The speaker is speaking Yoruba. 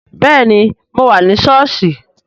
Bẹẹni, mo wà ní sọ́ọ̀sì